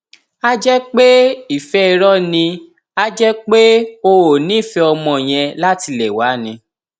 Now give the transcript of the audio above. a jẹ pé ìfẹ irọ ni a jẹ pé o ò nífẹẹ ọmọ yẹn látilẹ wá ni